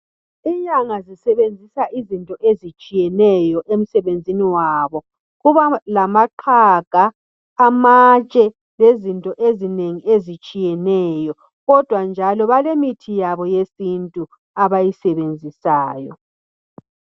Inyanga zisebenzisa izinto ezitshiyeneyo emsebenzini wabo. Kubalamaqhaga, amatshe, lezinto ezinengi ezitshiyeneyo, kodwa njalo balemithi yabo yesintu abayisebenzisayo.